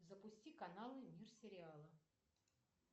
запусти канал мир сериала